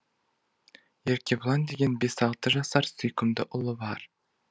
еркебұлан деген бес алты жасар сүйкімді ұлы бар